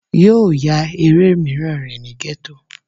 Yóò ya eré míràn rè ni Gétò